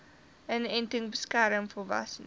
inenting beskerm volwassenes